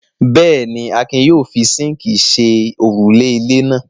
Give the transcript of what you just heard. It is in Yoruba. Bẹ́ẹ̀ ni, Akin yóò fi síńkì ṣe òrùlé ilé náà.